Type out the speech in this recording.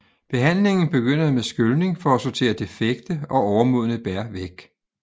Behandlingen begynder med skylning for at sortere defekte og overmodne bær væk